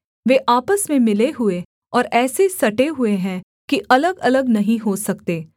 वे आपस में मिले हुए और ऐसे सटे हुए हैं कि अलगअलग नहीं हो सकते